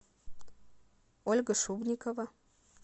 ольга шубрикова